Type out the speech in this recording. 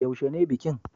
Yaushe ne bikin?